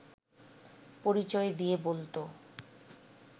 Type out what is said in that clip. পরিচয় দিয়ে বলত